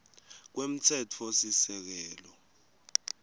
kwemtsetfosisekelo